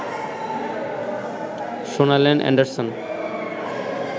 শোনালেন অ্যান্ডারসন